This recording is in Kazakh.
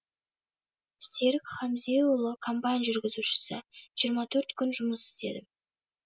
серік хамзеұлы комбайн жүргізушісі жиырма төрт күн жұмыс істедім